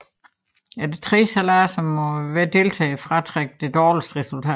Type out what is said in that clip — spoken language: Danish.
Efter tre sejladser må hver deltager fratrække det dårligste resultat